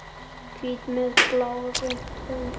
Hvítri með blárri rönd.